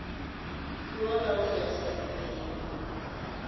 puo ka ho hlahisa dipheo